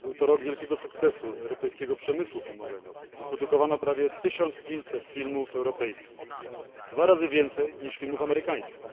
r. był to rok wielkiego sukcesu dla europejskiego przemysłu filmowego wyprodukowano prawie 1500 filmów europejskich, dwa razy więcej niż filmów amerykańskich.